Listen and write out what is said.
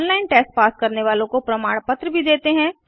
online test pass करने वालों को प्रमाण पत्र भी देते हैं